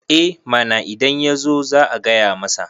eh mana idan ya zo za a gaya masa